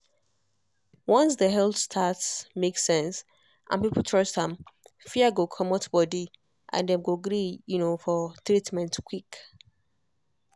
once the health stats make sense and people trust am fear go comot body and dem go gree um for treatment quick.